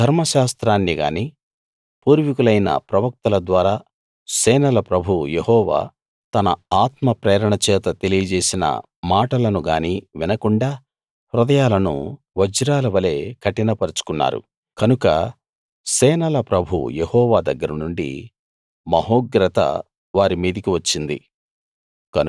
ధర్మశాస్త్రాన్ని గానీ పూర్వికులైన ప్రవక్తల ద్వారా సేనల ప్రభువు యెహోవా తన ఆత్మ ప్రేరణచేత తెలియజేసిన మాటలను గానీ వినకుండా హృదయాలను వజ్రాల వలె కఠిన పరచుకున్నారు కనుక సేనల ప్రభువు యెహోవా దగ్గర నుండి మహోగ్రత వారి మీదికి వచ్చింది